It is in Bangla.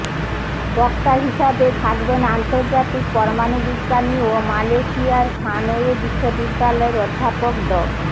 বক্তা হিসেবে থাকবেন আন্তর্জাতিক পরমাণু বিজ্ঞানী ও মালয়েশিয়ার সানওয়ে বিশ্ববিদ্যালয়ের অধ্যাপক ড